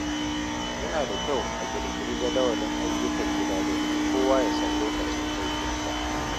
Yana da kyau a ƙirƙiri jadawalin ayyukan gida domin kowa ya san lokacin aikinsa.